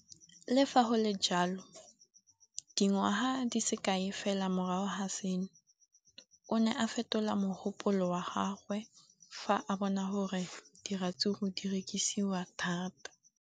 Le fa go le jalo, dingwaga di se kae fela morago ga seno, o ne a fetola mogopolo wa gagwe fa a bona gore diratsuru di rekisiwa thata.